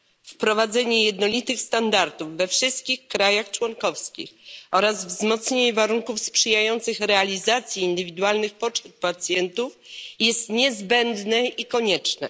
Wprowadzenie jednolitych standardów we wszystkich krajach członkowskich oraz wzmocnienie warunków sprzyjających realizacji indywidualnych potrzeb pacjentów jest niezbędne i konieczne.